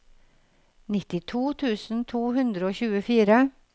nittito tusen to hundre og tjuefire